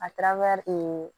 A taar